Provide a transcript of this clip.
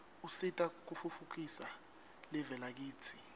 usita kutfutfukisa live lakitsi